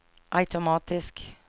automatisk